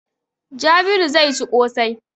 Jabiru zai ci ƙosai.